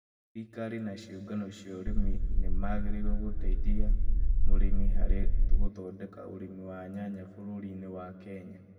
Thirikari na ciũngano cia ũrĩmi ni magĩrĩirũo gũtethia arĩmi harĩ gũthondeka ũrĩmi wa nyanya bũrũri-inĩ wa Kenya.